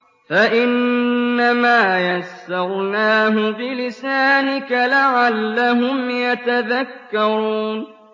فَإِنَّمَا يَسَّرْنَاهُ بِلِسَانِكَ لَعَلَّهُمْ يَتَذَكَّرُونَ